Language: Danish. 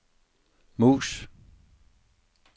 mus